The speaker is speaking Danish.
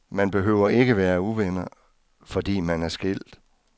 Man behøver ikke at være uvenner, fordi man er skilt.